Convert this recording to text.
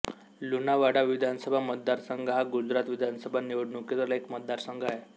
लुणावाडा विधानसभा मतदारसंघ हा गुजरात विधानसभा निवडणुकीतील एक मतदारसंघ आहे